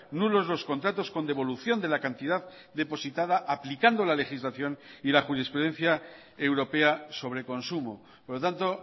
nulos los contratos con devolución de la cantidad depositada aplicando la legislación y la jurisprudencia europea sobre consumo por lo tanto